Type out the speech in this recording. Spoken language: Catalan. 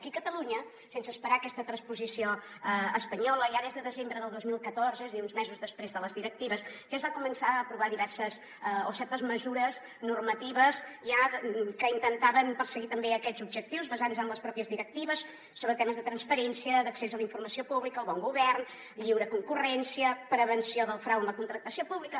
aquí a catalunya sense esperar aquesta transposició espanyola ja des de desembre del dos mil catorze és a dir uns mesos després de les directives es van començar a aprovar certes mesures normatives que intentaven perseguir també aquests objectius basant se en les pròpies directives sobre temes de transparència d’accés a la informació pública al bon govern lliure concurrència prevenció del frau en la contractació pública